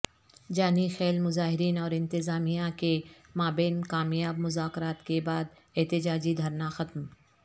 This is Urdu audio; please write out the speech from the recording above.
جانی خیل مظاہرین اور انتظامیہ کے مابین کامیاب مذاکرات کے بعد احتجاجی دھرنا ختم